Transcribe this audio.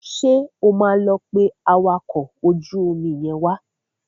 Ṣé o máa lọ pé awakọ̀ ojú omi yẹn wá?